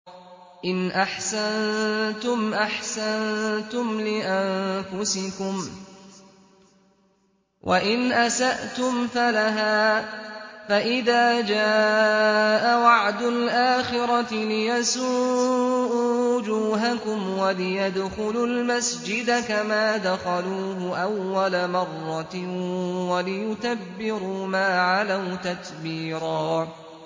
إِنْ أَحْسَنتُمْ أَحْسَنتُمْ لِأَنفُسِكُمْ ۖ وَإِنْ أَسَأْتُمْ فَلَهَا ۚ فَإِذَا جَاءَ وَعْدُ الْآخِرَةِ لِيَسُوءُوا وُجُوهَكُمْ وَلِيَدْخُلُوا الْمَسْجِدَ كَمَا دَخَلُوهُ أَوَّلَ مَرَّةٍ وَلِيُتَبِّرُوا مَا عَلَوْا تَتْبِيرًا